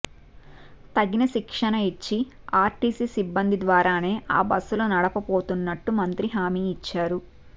తగిన శిక్షణ ఇచ్చి ఆర్టీసీ సిబ్బంది ద్వారానే ఆ బస్సులు నడపబోతున్నట్లు మంత్రి హామీ ఇచ్చారు